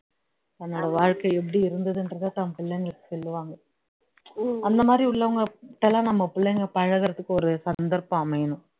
என்னோட வாழ்க்கை இப்படி இருந்தது என்றத தான் பிள்ளைங்களுக்கு சொல்லுவாங்க அந்த மாதிரி உள்ளவங்க கிட்டலாம் நம்ம பிளைங்க பழகுறதுக்கு ஒரு சந்தர்ப்பம் அமையும்